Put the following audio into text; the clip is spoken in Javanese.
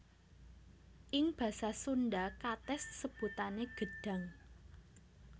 Ing basa Sundha katès sebutané gedhang